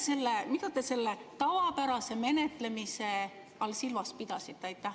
Või mida te selle tavapärase menetlemise all silmas pidasite?